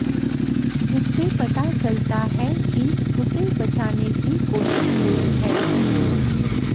जिससे पता चलता है कि उसे बचाने की कोशिश हुई है